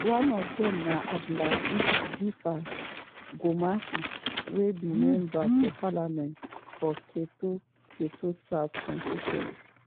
female lawmakers for ghana parliament bin dey excited afta di president sign di bill – dey tok say dis na strong move.